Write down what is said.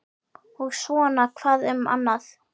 Og svona hvað um annað